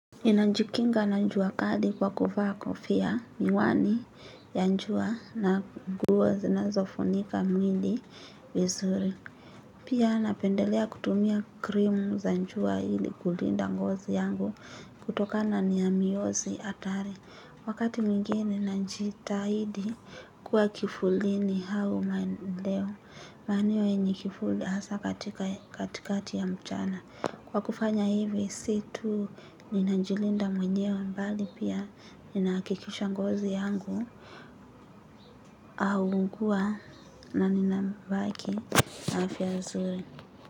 Ninajikinga na njua kali kwa kufa kofia miwani ya njua na guo zinazofunika mwili vizuri. Pia napendelea kutumia krimu za njua ili kulinda ngozi yangu kutoka na niamiyozi atari. Wakati mwingine nanjitahidi kuwa kifulini hau maeneo. Maeneo njikifuli hasa katikati ya mchana. Kwa kufanya hivi si tu ninajilinda mwenyewe mbali pia ninaakikisha ngozi yangu au unkua na nina mbaki afya zuri.